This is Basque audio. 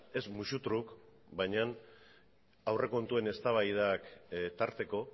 ez musutruk baina aurrekontuen eztabaidak tarteko